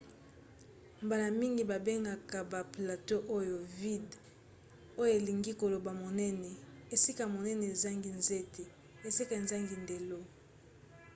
mbala mingi babengaka ba plateau oyo vidde oyo elingi koloba monene esika monene ezangi nzete esika ezangi ndelo